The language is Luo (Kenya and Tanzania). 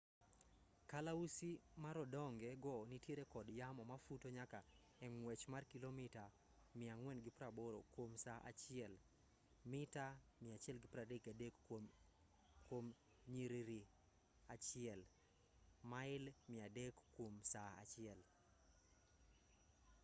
kalausi marodonge go nitiere kod yamo mafuto nyaka e ng'wech mar kilomita 480 kuom saa achiel mita 133 kuom nyiriri achiel; mail 300 kuom saa achiel